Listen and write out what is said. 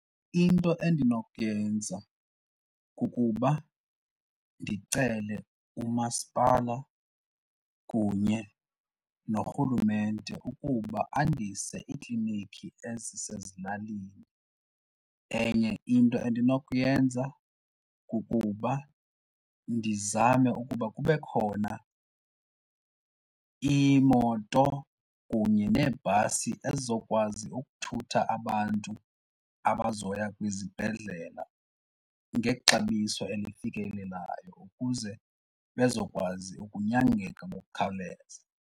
Into endinokuyenza kukuba ndicele umasipala kunye noRhulumente ukuba andise iiklinikhi ezisezilalini. Enye into endinokuyenza kukuba ndizame ukuba kube khona iimoto kunye neebhasi ezizokwazi ukuthutha abantu abazoya kwizibhedlela ngexabiso elifikelelayo ukuze bazokwazi ukunyangeka ngokukhawuleza.